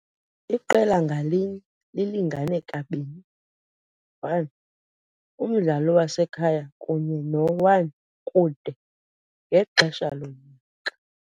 Iqela ngalinye lilingane kabini, 1 umdlalo wasekhaya kunye no-1 kude, ngexesha lonyaka.